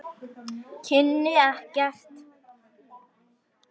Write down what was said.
Kynni ekkert.